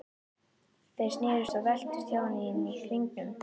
Þeir snerust og veltust hjá henni inni í hringnum.